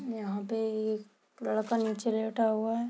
यहां पे एक लड़का नीचे लेटा हुआ है।